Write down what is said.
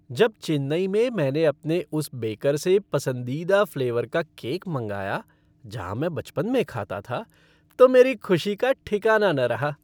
जब चेन्नई में मैंने अपने उस बेकर से पसंदीदा फ़्लेवर का केक मंगाया जहाँ मैं बचपन में खाता था तो मेरी खुशी का ठिकाना न रहा।